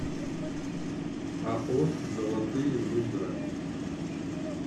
ао золотые луга